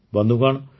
ବନ୍ଧୁଗଣ